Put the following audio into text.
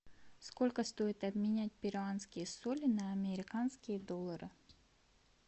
сколько стоит обменять перуанские соли на американские доллары